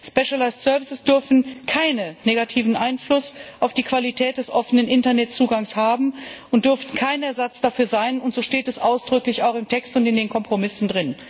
Spezialisierte Dienstleistungen dürfen keinen negativen Einfluss auf die Qualität des offenen Internetzugangs haben und dürfen kein Ersatz dafür sein und so steht es ausdrücklich auch im Text und in den Kompromissen.